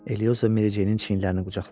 Elioza Mericeyin çiyinlərini qucaqladı.